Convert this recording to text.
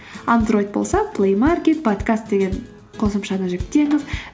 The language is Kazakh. андроид болса плеймаркет подкаст деген қосымшаны жүктеңіз